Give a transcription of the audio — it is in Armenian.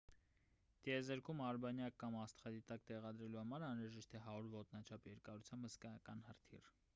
տեզերքում արբանյակ կամ աստղադիտակ տեղադրելու համար անհրաժեշտ է 100 ոտնաչափ երկարությամբ հսկայական հրթիռ